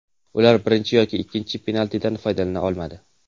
Ular birinchi yoki ikkinchi penaltidan foydalana olmadi.